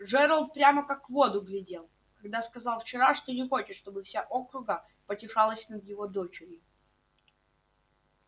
джералд прямо как в воду глядел когда сказал вчера что не хочет чтобы вся округа потешалась над его дочерью